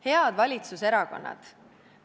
Head valitsuserakonnad!